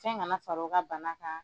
Fɛn kana far'o ka bana kan,